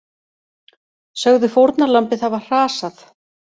Sögðu fórnarlambið hafa hrasað